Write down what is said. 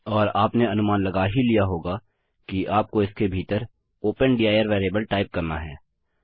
और आपने अनुमान लगा ही लिया होगा कि आपको इसके भीतर ओपन दिर वेरिएबल टाइप करना है